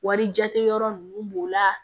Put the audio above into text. Wari jate yɔrɔ ninnu b'o la